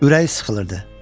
Ürək sıxılırdı.